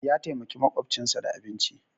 Ya taimaki maƙwabcinsa da abinci